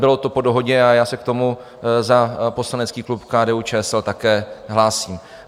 Bylo to po dohodě a já se k tomu za poslanecký klub KDU-ČSL také hlásím.